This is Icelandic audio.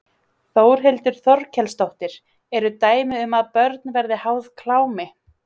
Þórhildur Þorkelsdóttir: Eru dæmi um að börn verði háð klámi?